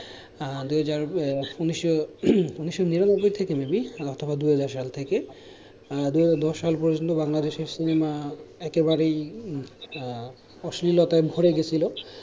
আহ দু-হাজার ঊনিশশো ঊনিশশো নিরানব্বই থেকে may be অথবা দুই হাজার সাল থেকে আহ দুই হাজার দশ সাল পর্যন্ত বাংলাদেশের সিনেমা একেবারেই আহ অশ্লীলতায় ভরে গেছিলো।